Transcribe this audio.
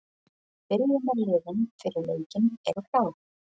Byrjunarliðin fyrir leikinn eru klár.